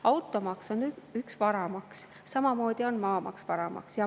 Automaks on üks varamaks, samamoodi on maamaks varamaks.